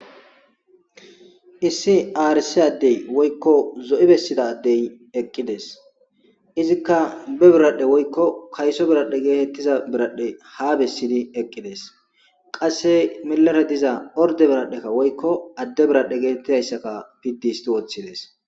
issi aarisi addey woykko zo7i bessidadey eqqides izikka be biradhe woykko kayso biradhe geetettiza biradhe ha bessidi eqqides qasse milare diza orde biradhekka woykko adde biradhe geetettidayssaka piddi histi woththides